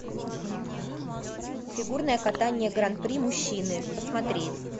фигурное катание гран при мужчины посмотреть